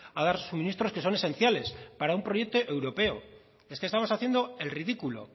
a dar suministros que son esenciales para un proyecto europeo es que estamos haciendo el ridículo